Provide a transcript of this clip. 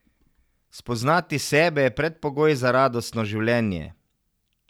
Spoznati sebe je predpogoj za radostno življenje.